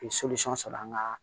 sɔrɔ an ga